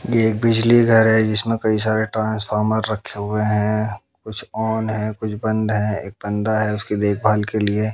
ये एक बिजली घर है जिसमें कई सारे ट्रांसफार्मर रखे हुए हैं कुछ ऑन है कुछ बंद है एक बंदा है उसकी देखभाल के लिए।